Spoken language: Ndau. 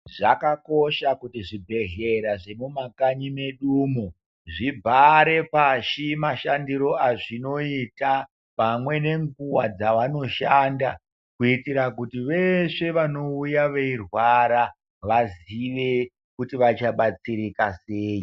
Zvakakosha kuti zvibhedhlera zvemumakanyi medu umu zvibhare pashi mashandiro azvinoita pamwe nenguwa dzavanoshanda kuitira kuti veshe vanouya veirwara vazive kuti vachabatsirika sei.